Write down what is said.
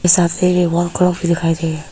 साथ में एक वॉल क्लॉक दिखाई गई है।